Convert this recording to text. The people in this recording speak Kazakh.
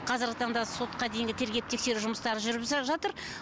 қазіргі таңда сотқа дейінгі тергеп тексеру жұмыстары жүріп жатыр